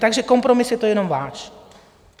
Takže kompromis je to jenom váš.